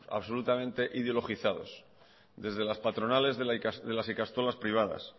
absolutamente ideologizados desde las patronales de las ikastolas privadas